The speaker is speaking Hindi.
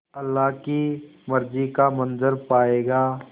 अल्लाह की मर्ज़ी का मंज़र पायेगा